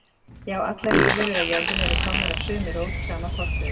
Já, allar lífverur á jörðinni eru komnar af sömu rót, sama forföður